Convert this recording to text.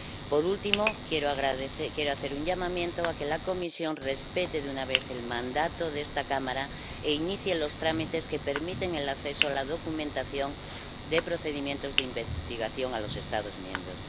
Por último, quiero hacer un llamamiento a que la Comisión respete de una vez por todas el mandato de esta Cámara e inicie los trámites que permitan el acceso a la documentación de procedimientos de investigación a los Estados miembros.